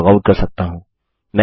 मैं लॉगआउट कर सकता हूँ